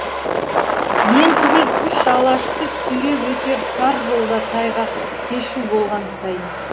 мен түгіл үш алашты сүйреп өтер тар жолда тайғақ кешу болған сайын